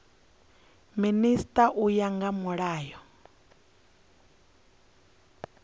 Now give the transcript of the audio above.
minisita u ya nga mulayo